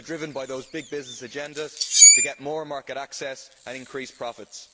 they are driven by those big business agendas to get more market access and increase profits.